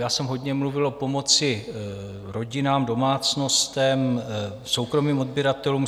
Já jsem hodně mluvil o pomoci rodinám, domácnostem, soukromým odběratelům.